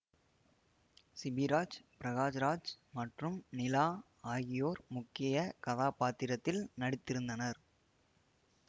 சிபிராஜ் பிரகாஷ் ராஜ் மற்றும் நிலா ஆகியோர் முக்கிய கதாப்பாத்திரத்தில் நடித்திருந்தனர்